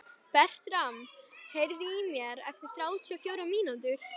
Bertram, heyrðu í mér eftir þrjátíu og fjórar mínútur.